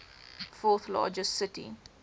fourth largest city